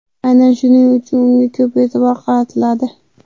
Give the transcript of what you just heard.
Aynan shuning uchun unga ko‘p e’tibor qaratiladi.